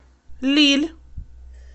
лилль